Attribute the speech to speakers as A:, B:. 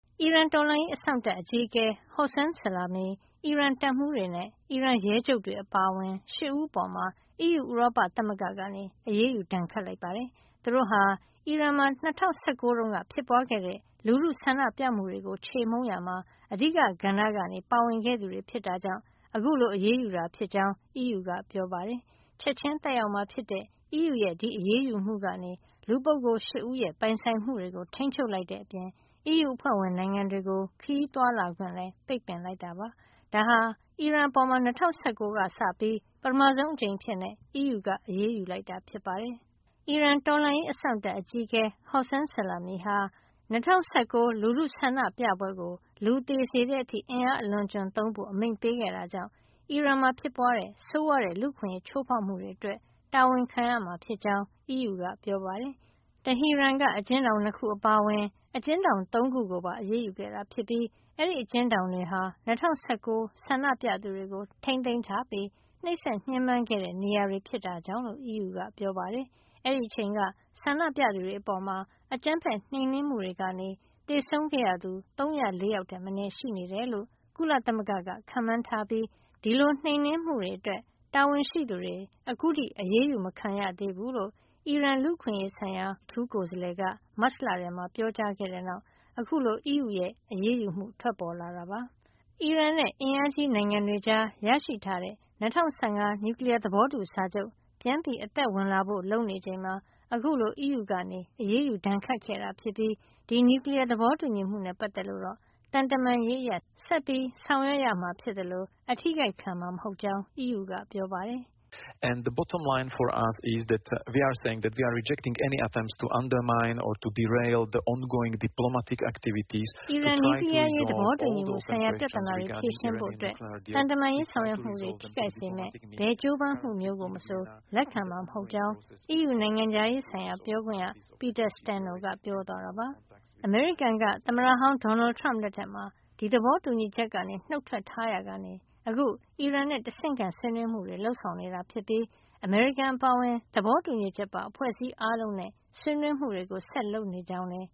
A: အီရန်တော်လှန်ရေးအစောင့်တပ် အကြီးအကဲ Hossein Salami ၊ အီရန်တပ်မှူးတွေ နဲ့ အီရန်ရဲချုပ်တွေ အပါအဝင် ၈ ဦး အပေါ် အီးယူ ဥရောပသမဂ္ဂက အရေးယူဒဏ်ခတ်လိုက်ပါတယ်။ သူတို့ဟာ အီရန်မှာ ၂၀၁၉ တုန်းကဖြစ်ပွားခဲ့တဲ့ လူထုဆန္ဒပြမှုတွေကို ချေမှုန်းရာမှာ အဓိကကဏ္ဍကနေ ပါဝင်ခဲ့သူတွေ ဖြစ်တာကြောင့် အခုလို အရေးယူတာ ဖြစ်ကြောင်း အီးယူကပြောပါတယ်။ ချက်ချင်းသက်ရောက်မှာ ဖြစ်တဲ့ အီးယူရဲ့ အရေးယူမှုကနေ ဒီလူပုဂ္ဂိုလ် ၈ ဦးရဲ့ ပိုင်ဆိုင်မှုတွေကို ထိန်းချုပ်လိုက်တဲ့အပြင် အီးယူအဖွဲ့ဝင် နိုင်ငံတွေကို ခရီးသွားလာခွင့်လည်း ပိတ်ပင်လိုက်တာ ဖြစ်ပါတယ်။ ဒါဟာ အီရန်အပေါ် ၂၀၁၃ ကစပြီး ပထမဆုံးအကြိမ်အဖြစ် အီးယူက အရေးယူလိုက်တာဖြစ်ပါတယ်။ အီရန်တော်လှန်ရေးအစောင့်တပ် အကြီးအကဲ Hossein Salami ဟာ ၂၀၁၉ လူထုဆန္ဒပြပွဲကို လူသေစေတဲ့အထိ အင်အားအလွန်အကျွံသုံးဖို့ အမိန့်ပေးခဲ့တာကြောင့် အီရန်မှာဖြစ်ပွားတဲ့ဆိုးဝါးတဲ့ လူ့အခွင့်ရေးချိုးဖေါက်မှုတွေ အတွက် တာဝန်ခံရမှာ ဖြစ်ကြောင်းလည်း အီးယူက ပြောပါတယ်။ တဟီရန်က အကျဉ်းထောင် ၂ ခု အပါအဝင် အကျဉ်းထောင် ၃ ခု ကိုပါအရေးယူခဲ့တာ ဖြစ်ပြီး အဲဒီအကျဉ်းထောင်တွေဟာ ၂၀၁၉ ဆန္ဒပြသူတွေကိုထိန်းသိမ်းထားပြီး နှိပ်စက်ညှဉ်းပမ်းခဲ့တဲ့ နေရာတွေ ဖြစ်တာကြောင့် လို့အီးယူက ပြောပါတယ်။ အဲဒီအချိန်က ဆန္ဒပြသူတွေအပေါ် အကြမ်းဖက်နှိမ်နင်းမှုတွေကနေ သေဆုံးခဲ့ရသူ ၃၀၄ ယောက်ထက်မနည်း ရှိနေတယ်လို့ ကုလသမဂ္ဂက ခန့်မှန်းထားပြီး ဒီလိုနှိမ်နင်းမှုတွေ အတွက် တာဝန်ရှိသူတွေ အခုထိ အရေးယူမခံရသေးဘူးလို့ အီရန်လူ့အခွင့်ရေးဆိုင်ရာ အထူးကိုယ်စားလှယ်က မတ်လထဲမှာ ပြောကြားခဲ့တဲ့နောက် အခုလို အီးယူရဲ့ အရေးယူမှုထွက်ပေါ်လာတာပါ။ အီရန်နဲ့ အင်အားကြီးနိုင်ငံတွေကြားရရှိထားတဲ့ ၂၀၁၅ နျူကလီယား သဘောတူစာချုပ် ပြန်အသက်ဝင်လာဖို့ လုပ်နေချိန်မှာ အခုလို အီးယူကအရေးယူဒဏ်ခတ်ခဲ့တာဖြစ်ပြီး ဒီနျူကလီယား သဘောတူညီမှုနဲ့ ပတ်သက်လို့ တော့ သံတမန်ရေး အရ ဆက်လက် ဆောင်ရွက်မှာ ဖြစ်သလို အထိခိုက်ခံမှာ မဟုတ်ကြောင်း အီးယူက ပြောပါတယ်။ “အီရန်နျူကလီယားအရ
B: ေး သဘောတူညီမှုဆိုင်ရာ ပြဿနာတွေ ဖြေရှင်းဖို့ သံတ
A: မန်ရေးဆောင်ရွက်မှုတွေ ထိခိုက်စေမယ့် ဘယ်ကြိုးပမ်း မျိုးကိုမဆို လက်ခံမှာ မဟုတ်ကြောင်း” အီးယူနိုင်ငံခြားရေးဆိုင်ရာ ပြောခွင့်ရ Peter Stano ကပြော သွားတာပါ။ အမေရိကန်က သမ္မတဟောင်း ဒေါ်နယ်ထရမ့်လက်ထက်မှာ ဒီသဘောတူညီချက်ကနေ နုတ်ထွက်ထားရာကနေ အခု အီရန်နဲ့ တဆင့်ခံဆွေးနွေးမှုတွေ လုပ်ဆောင်နေတာဖြစ်ပြီး အမေရိကန်အပါအဝင် သဘောတူညီချက်ပါအဖွဲ့အစည်းအားလုံးနဲ့ ဆွေးနွေးမှုတွေ ဆက်လက်လုပ်ဆောင်နေကြောင်း လည်း